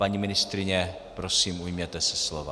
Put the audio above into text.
Paní ministryně, prosím, ujměte se slova.